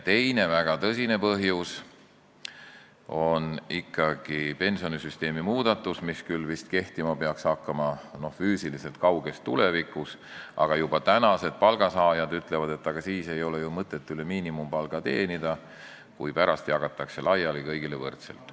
Teine väga tõsine põhjus on ikkagi pensionisüsteemi muudatus, mis peaks küll vist kehtima hakkama kauges tulevikus, aga juba tänased palgasaajad ütlevad, et ei ole ju mõtet üle miinimumpalga teenida, kui pärast jagatakse kõigile võrdselt.